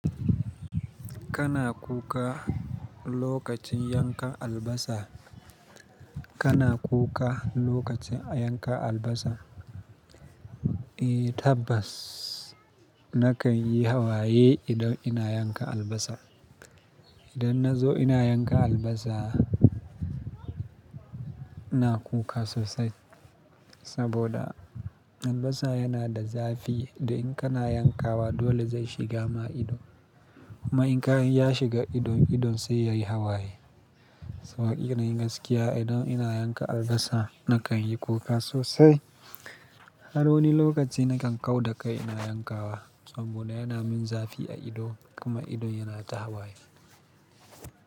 Kana kuka lokacin yanka albasa, kana kuka lokacin yanka albasa? Eh tabbas nakan yi hawaye idan ina yanka albasa. Idan na zo ina yanka albasa, ina kuka sosai saboda albasa yana da zafi da in kana yankawa dole zai shiga ma ido. Kuma in ka ya shiga ido, ido sai yayi hawaye. Saboda ina yin gaskiya idan ina yanka albasa nakan yi kuka sosai. Har wani lokaci nakan kau da kai ina yankawa saboda yana min zafi a ido kuma ido yana ta hawaye.